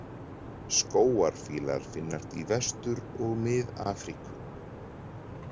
Skógarfílar finnast í Vestur- og Mið-Afríku.